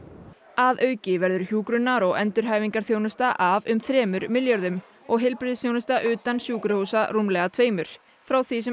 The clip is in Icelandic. að auki verður hjúkrunar og endurhæfingarþjónusta af um þremur milljörðum og heilbrigðisþjónusta utan sjúkrahúsa rúmlega tveimur frá því sem